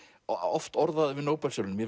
og oft orðaður við Nóbelsverðlaunin